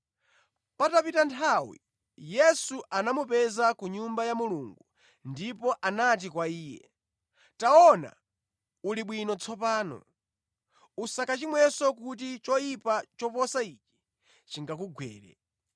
Patapita nthawi Yesu anamupeza ku Nyumba ya Mulungu ndipo anati kwa iye, “Taona uli bwino tsopano. Usakachimwenso kuti choyipa choposa ichi chingakugwere.”